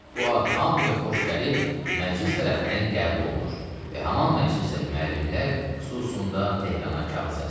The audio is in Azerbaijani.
Bu ad hamıya xoş gəlib məclis tərəfindən qəbul olunur və haman məclisdə müəllimlər xüsusunda Tehrana kağız yazılır.